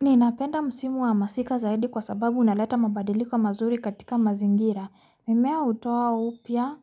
Ni napenda msimu wa masika zaidi kwa sababu unaleta mabadiliko mazuri katika mazingira. Mimea utoa upia,